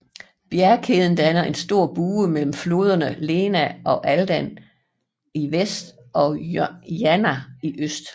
Bjergkæden danner en stor bue mellem floderne Lena og Aldan i vest og Jana i øst